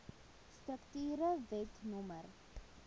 strukture wet no